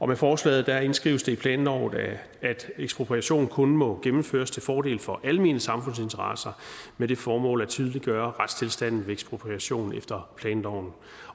med forslaget indskrives det i planloven at ekspropriation kun må gennemføres til fordel for almene samfundsinteresser med det formål at tydeliggøre retstilstanden ved ekspropriation efter planloven